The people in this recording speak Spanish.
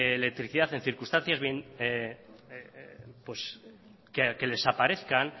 electricidad en circunstancias que les aparezcan